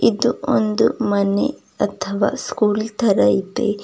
ಇದು ಒಂದು ಮನೆ ಅಥವಾ ಸ್ಕೂಲ್ ತರ ಇದೆ.